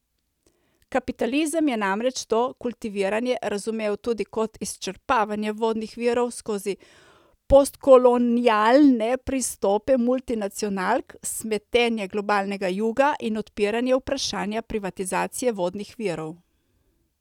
Kapitalizem je namreč to kultiviranje razumel tudi kot izčrpavanje vodnih virov skozi postkolonialne pristope multinacionalk, smetenje globalnega juga in odpiranje vprašanja privatizacije vodnih virov.